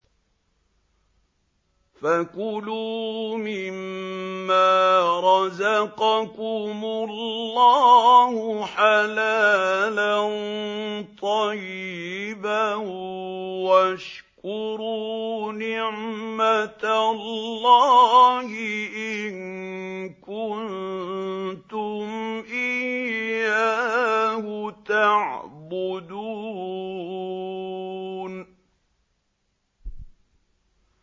فَكُلُوا مِمَّا رَزَقَكُمُ اللَّهُ حَلَالًا طَيِّبًا وَاشْكُرُوا نِعْمَتَ اللَّهِ إِن كُنتُمْ إِيَّاهُ تَعْبُدُونَ